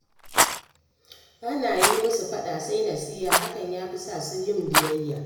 Ba na yi musu faɗa sai nasiha, hakan ya fi sa su yi biyayya